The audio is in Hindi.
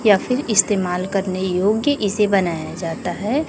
या फिर इस्तेमाल करने योग्य इसे बनाया जाता है।